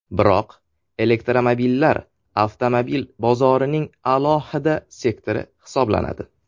Biroq, elektromobillar avtomobil bozorining alohida sektori hisoblanadi.